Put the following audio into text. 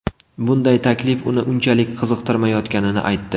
Bunday taklif uni unchalik qiziqtirmayotganini aytdi.